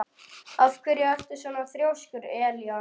Af hverju ertu svona þrjóskur, Elíana?